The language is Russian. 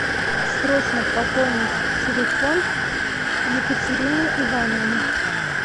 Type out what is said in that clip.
срочно пополнить телефон екатерины ивановны